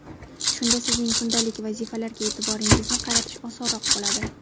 Shunda sizning kundalik vazifalarga e’tiboringizni qaratish osonroq bo‘ladi.